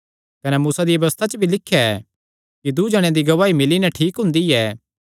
कने मूसा दिया व्यबस्था च भी लिख्या ऐ कि दूँ जणेयां दी गवाही मिल्ली नैं ठीक हुंदी ऐ